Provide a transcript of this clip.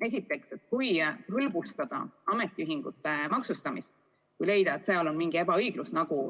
Esiteks, kui leevendada ametiühingute maksustamist või leida, et seal on mingi ebaõiglus, nagu